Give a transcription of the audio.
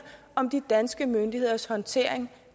om de danske myndigheders håndtering